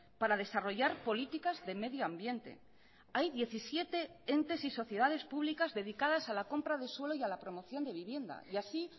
para desarrollar políticas de medio ambiente hay diecisiete entes y sociedades públicas dedicadas a la compra de suelo y a la promoción de vivienda y así